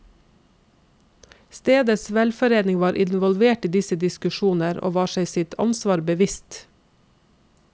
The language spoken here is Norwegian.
Stedets velforening var involvert i disse diskusjoner, og var seg sitt ansvar bevisst.